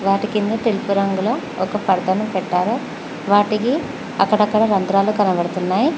వాటి కింద తెలుపు రంగులో ఒక పొరను పెట్టారు వాడికి అక్కడక్కడ రంధ్రాలు కనబడుతున్నాయి.